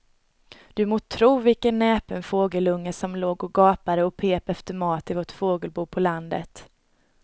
Du må tro vilken näpen fågelunge som låg och gapade och pep efter mat i vårt fågelbo på landet.